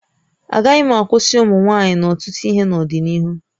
Agaghị akwụsị ụmụ nwaanyị n'ọtụtụ ihe n'ọdịnihu